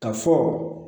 Ka fɔ